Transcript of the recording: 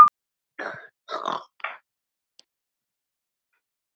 Þar var verk að vinna.